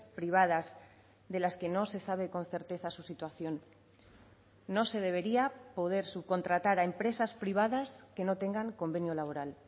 privadas de las que no se sabe con certeza su situación no se debería poder subcontratar a empresas privadas que no tengan convenio laboral